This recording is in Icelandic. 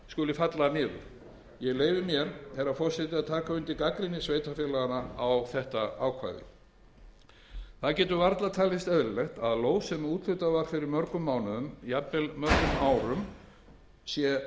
falli niður ég leyfi mér herra forseti að taka undir gagnrýni sveitarfélaganna á þetta ákvæði það getur varla talist eðlilegt að lóð sem úthlutað var fyrir mörgum mánuðum jafnvel árum sé